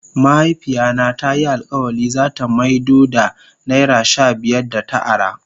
Mahaifiya na ta yi alkawali za ta maido da naira shabiyar da ta ara.